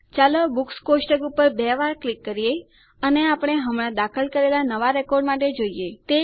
ચાલો બુક્સ કોષ્ટક ઉપર બે વાર ક્લિક કરીએ અને આપણે હમણા દાખલ કરેલા નવાં રેકોર્ડ માટે જોઈએ